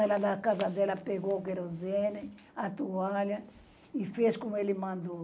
Ela, na casa dela, pegou o querosene, a toalha e fez como ele mandou.